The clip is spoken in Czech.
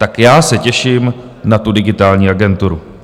Tak já se těším na tu Digitální agenturu.